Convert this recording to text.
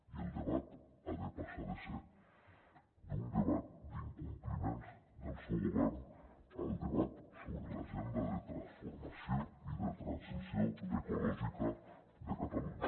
i el debat ha de passar de ser d’un debat d’incompliments del seu govern al debat sobre l’agenda de transformació i de transició ecològica de catalunya